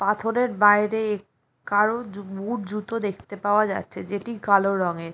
পাথর এর বাহিরে কারোর বুট জুতো দেখতে পাওয়া যাচ্ছে যেটি কালো রং এর।